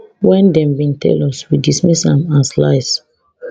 wen dem bin tell us we dismiss am as lies